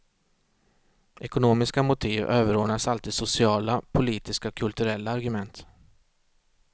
Ekonomiska motiv överordnas alltid sociala, politiska och kulturella argument.